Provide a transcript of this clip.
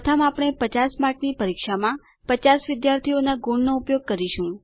પ્રથમ આપણે 50 માર્કની પરીક્ષામાં 50 વિદ્યાર્થીઓના ગુણનો ઉપયોગ કરીશું